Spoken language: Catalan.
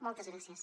moltes gràcies